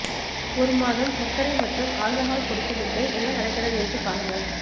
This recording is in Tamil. ஒரு மாதம் சர்க்கரை மற்றும் ஆல்கஹால் கொடுத்து விட்டு என்ன நடக்கிறது என்று பாருங்கள்